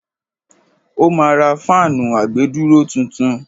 ó ma ra fáànù àgbèdúró tuntun.